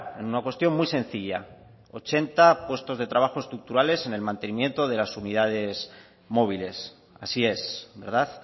en una cuestión muy sencilla ochenta puestos de trabajo estructurales en el mantenimiento de las unidades móviles así es verdad